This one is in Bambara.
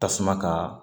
Tasuma ka